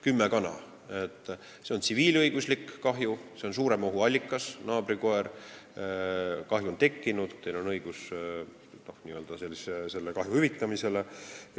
Kümme kana – see on tsiviilõiguslik kahju, siin on suurema ohu allikas , kahju on tekkinud, teil on õigus selle kahju hüvitamisele.